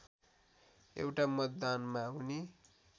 एउटा मतदानमा उनी